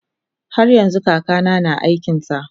haryanxu kakana na aikinsa